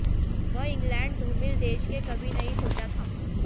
वह इंग्लैंड धूमिल देश के कभी नहीं सोचा था